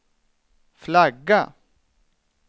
flagga